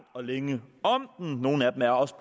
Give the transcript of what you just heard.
og længe om og nogle af dem er også